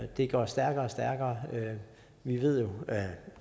det går stærkere og stærkere vi ved jo